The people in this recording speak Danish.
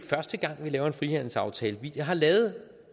laver en frihandelsaftale vi har lavet